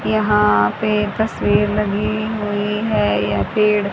यहां पे तस्वीर लगी हुई है यह पेड़--